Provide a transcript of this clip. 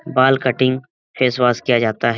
बाल cutting face wash किया जाता है।